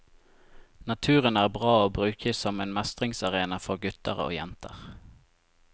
Naturen er bra å bruke som en mestringsarena for gutter og jenter.